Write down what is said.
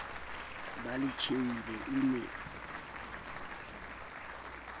ba le tjhehile e ne